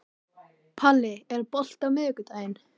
Palli, er bolti á miðvikudaginn?